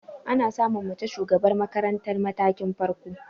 Ana samun mace shugabar makarantar matakin farko.